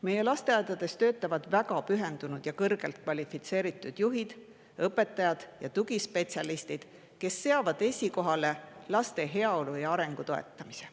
Meie lasteaedades töötavad väga pühendunud ja kõrgelt kvalifitseeritud juhid, õpetajad ja tugispetsialistid, kes seavad esikohale laste heaolu ja nende arengu toetamise.